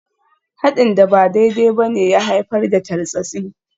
Haɗin da ba daidai ba ne ya haifar da tartsatsi.